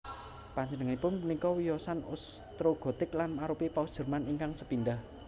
Panjenenganipun punika wiyosan Ostrogotik lan arupi Paus Jerman ingkang sepindah